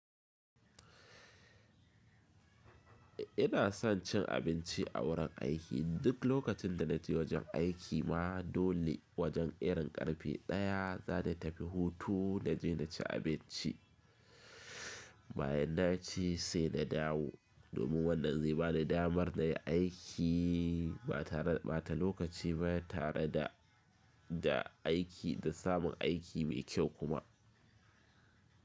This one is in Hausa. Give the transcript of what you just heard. Ina son cin abinci a wurin aiki. Duk lokacin da na je wajen aiki ma dole wajen irin ƙarfe ɗaya za ta tafi hutu na je na ci abinci. Bayan na ci sai na dawo. Domin wannan zai bani damar na yi aiki ba ta lokaci ba tare da da aiki da samun aiki mai kyau kuma.